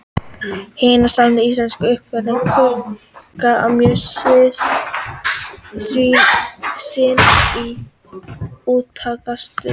Hinar sameinuðu íslensku verslanir juku eitt sinn mjög umsvif sín í Útkaupstaðnum.